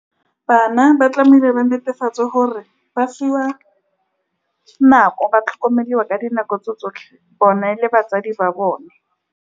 Bana ba tlamehile ba netefatse gore ba fiwa nako, ba tlhokomelwa ka dinako tse tsotlhe, bone le batsadi ba bone.